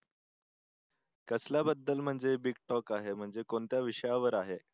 कसल्याबद्दल म्हणजे big talk आहे म्हणजे कोणत्या विषयावर आहे?